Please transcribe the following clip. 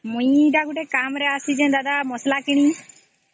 ମୁ ଗୋଟେ କାମ ରେ ଆସିଛି ଦାଦା ମସଲା କିଣି